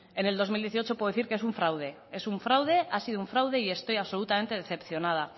en el dos mil dieciocho puedo decir que es un fraude es un fraude ha sido un fraude y estoy absolutamente decepcionada